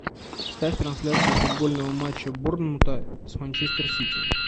ставь трансляцию футбольного матча борнмута с манчестер сити